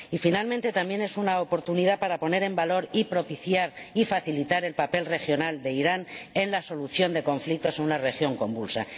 Y, finalmente, también es una oportunidad para poner en valor y propiciar y facilitar el papel regional de Irán en la solución de conflictos en una región convulsa.